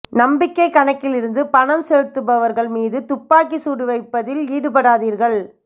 நம்பிக்கைக் கணக்கிலிருந்து பணம் செலுத்துபவர்கள் மீது துப்பாக்கி சூடு வைப்பதில் ஈடுபடாதீர்கள்